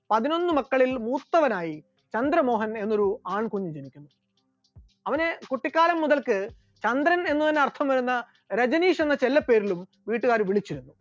പതിനൊന്നു മക്കളിൽ മൂത്തവനായി ചന്ദ്രമോഹൻ എന്നൊരു ആൺകുഞ്ഞ് ജനിച്ചു, അവൻ കുട്ടിക്കാലം മുതൽക്ക് ചന്ദ്രൻ എന്ന് അർത്ഥം വരുന്ന രജനീഷ് എന്ന ചെല്ലപ്പേരിലും വീട്ടുകാർ വിളിച്ചിരുന്നു.